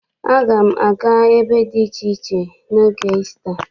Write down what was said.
Aga m aga ebe dị iche iche n'oge Isita.